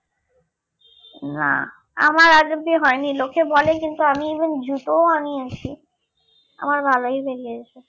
না আমার আজ অব্দি হয়নি লোকে বলে কিন্তু আমি even জুতোও আনিয়েছি আমার ভালোই লেগেছে